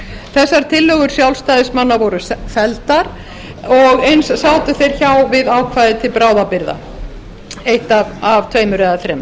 þessar tillögur sjálfstæðismanna voru felldar og eins sátu þeir hjá við ákvæði til bráðabirgða eitt af tveimur eða þremur